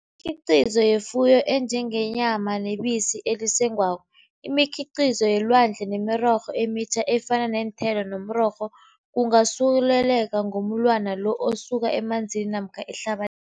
Imikhiqizo yefuyo enjengenyama nebisi elisengwako, imikhiqizo yelwandle nemirorho emitjha efana neenthelo nomrorho kungasuleleka ngomulwana lo osuka emanzini namkha ehlaba